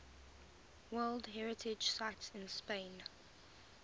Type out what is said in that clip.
world heritage sites in spain